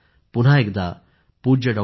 पुन्हा एकदा पूज्य डॉ